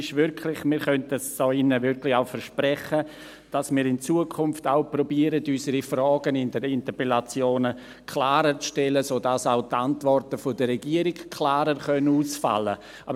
Wir könnten es hier drin wirklich auch versprechen, dass wir in Zukunft auch versuchen, unsere Fragen in den Interpellationen klarer zu stellen, sodass auch die Antworten der Regierung klarer ausfallen können.